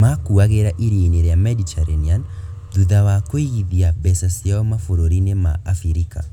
Makuagĩra Iria-inĩ rĩa Mediterranean thutha wa kũigithia mbeca ciao mabũrũri-inĩ ma Abirika.